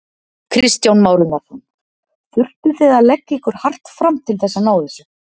Kristján Már Unnarsson: Þurftuð þið að leggja ykkur hart fram til þess að ná þessu?